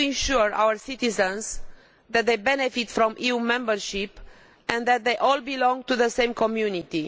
We need to assure our citizens that they benefit from EU membership and that they all belong to the same community.